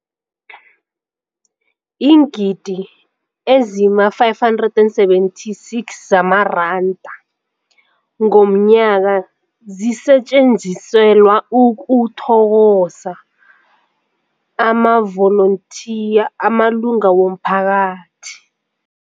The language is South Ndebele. Iingidi ezima-576 zamaranda ngomnyaka zisetjenziselwa ukuthokoza amavolontiya amalunga womphakathi.